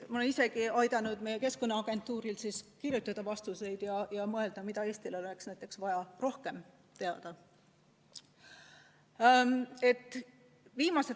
Ma olen ise ka aidanud meie Keskkonnaagentuuril kirjutada vastuseid ja mõelda, mida Eestil oleks vaja rohkem teada.